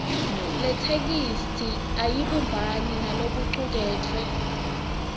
yetheksthi ayibumbani nalokucuketfwe